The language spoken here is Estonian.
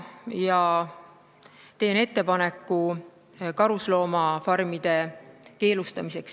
Ma teen ettepaneku karusloomafarmid Eestis keelustada.